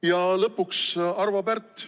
Ja lõpuks, Arvo Pärt.